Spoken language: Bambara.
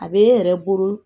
A bɛ e yɛrɛ bolo